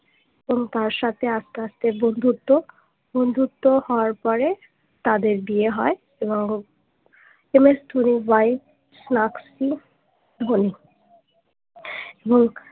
হম তার সাথে আস্তে আস্তে বন্ধুত্ব বন্ধুত্ব হওয়ার পরে তাদের বিয়ে হয় এবং এম এস ধোনির ওয়াইফ স্যাক্সই ধোনি এবং